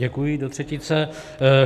Děkuji do třetice.